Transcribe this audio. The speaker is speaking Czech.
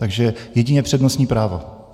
Takže jedině přednostní právo.